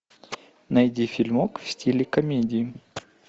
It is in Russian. найди фильмок в стиле комедии